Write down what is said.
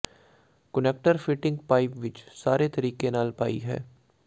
connector fitting pipe ਵਿੱਚ ਸਾਰੇ ਤਰੀਕੇ ਨਾਲ ਪਾਈ ਹੈ